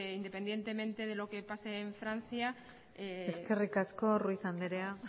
independientemente de lo que pase en francia eskerrik asko ruiz andrea